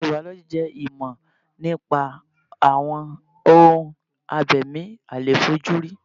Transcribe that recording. Maikiro bàọ́lọ́jì jẹ́ ìmọ̀ nípa àwọn ohun abẹ̀mí àìlèfojúrí.